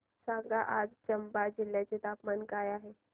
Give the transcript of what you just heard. सांगा आज चंबा जिल्ह्याचे तापमान काय आहे